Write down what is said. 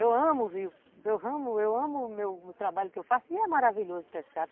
Eu amo o rio, eu amo eu amo o meu trabalho que eu faço e é maravilhoso pescar.